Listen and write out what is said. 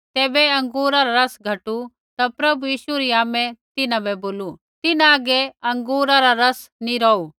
ज़ैबै अँगूरा रा रस घटु ता प्रभु यीशु री आमै तिन्हां बै बोलू तिन्हां हागै अँगूरा रा रस नैंई रौहु